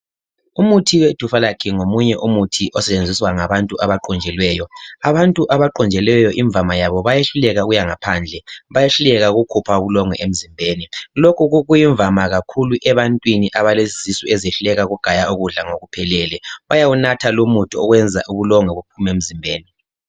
Umuthi wedufalac ngomunye umuthi osetshenziswa ngabantu abaqunjelweyo. Abantu abaqunjelweyo imvama yabo bayehluleka ukuyangaphandle. Bayehluleka ukukhupha ubulongwe emzimbeni. Lokhu kuyimvama kakhulu ebantwini abalezisu ezehluleka ukugaya ukudla ngokuphelele, bayawunatha lumuthi okwenza ubulongwe buphume emzimbeni.